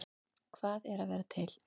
Hvað er að vera til?